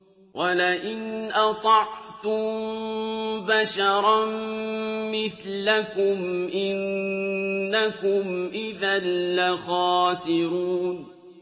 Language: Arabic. وَلَئِنْ أَطَعْتُم بَشَرًا مِّثْلَكُمْ إِنَّكُمْ إِذًا لَّخَاسِرُونَ